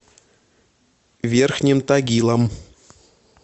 верхним тагилом